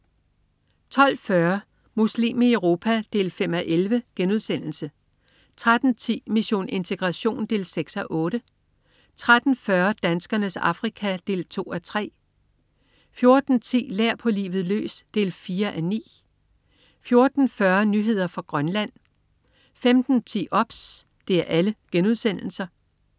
12.40 Muslim i Europa 5:11* 13.10 Mission integration 6:8* 13.40 Danskernes Afrika 2:3* 14.10 Lær på livet løs 4:9* 14.40 Nyheder fra Grønland* 15.10 OBS*